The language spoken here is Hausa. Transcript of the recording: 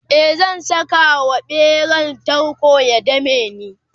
e zan Saka wa ɓeran tarko ya dameni